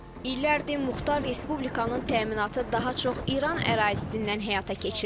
İllərdir Muxtar Respublikanın təminatı daha çox İran ərazisindən həyata keçirilir.